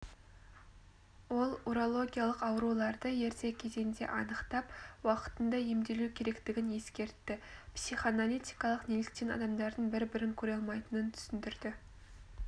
ол урологиялық ауруларды ерте кезеңде анықтап уақытында емделу керектігін ескертті психоаналитик неліктен адамдардың бір-бірін көреалмайтынын түсіндірді